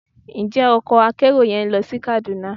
Njẹ ọkò akerò yẹn lo sí Kaduna?